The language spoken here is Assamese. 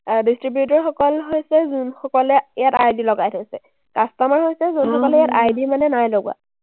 distributor সকল হৈছে যোনসকলে ইয়াত ID লগাই থৈছে। customer হৈছে যোনসকলে ইয়াত ID মানে নাই লগোৱা।